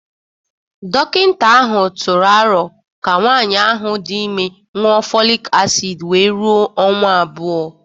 Dọkịta ahụ tụrụ aro ka nwanyị ahụ dị ime ñụọ folic acid wee rụo ọnwa abụọ